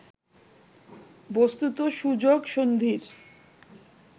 বস্তুত সুযোগ সন্ধির